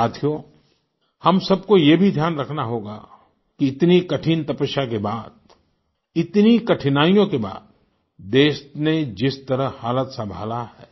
साथियो हम सबको ये भी ध्यान रखना होगा कि इतनी कठिन तपस्या के बाद इतनी कठिनाइयों के बाद देश ने जिस तरह हालात संभाला है